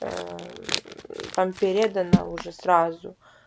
там передана уже сразу